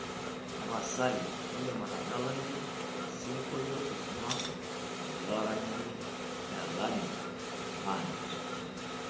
tapasali indim atadalayu osingolio oing'uaa enetii olaranyani elani band